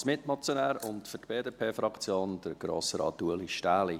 Als Mitmotionär und für die BDP-Fraktion, Grossrat Ueli Stähli.